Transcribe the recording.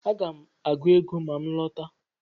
Aga m agụ ego ma m lọta